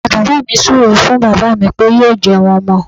Ìyá bàbá mi súu ré fún bàbá mí pé yóò jẹun ọmọ.